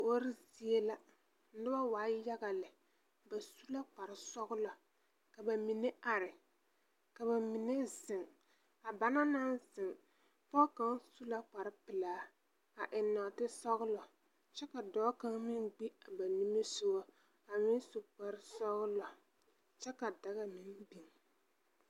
Kuori zie la, noba waa yaga lɛ, ba su la kparesɔglɔ, ka ba mine are, ka ba mine zeŋ. A banaŋ naŋ zeŋ, pɔge kaŋa su la kparepelaa, a eŋ nɔɔtesɔglɔ kyɛ ka dɔɔ kaŋa meŋ gbi a ba nimisogɔ, a meŋ su kparesɔglɔ, kyɛ ka daga meŋ biŋ.